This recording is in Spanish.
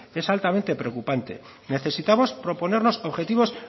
es altamente preocupante necesitamos proponernos objetivos